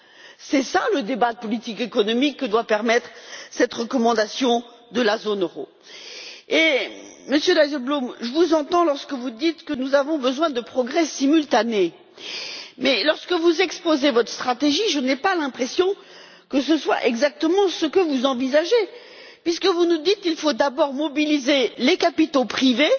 Tel est le débat politique économique que doit permettre cette recommandation de la zone euro. Monsieur Dijsselbloem, je vous entends lorsque vous dites que nous avons besoin de progrès simultanés, mais lorsque vous exposez votre stratégie, je n'ai pas l'impression que ce soit exactement ce que vous envisagez, puisque vous nous dites qu'il faut d'abord mobiliser les capitaux privés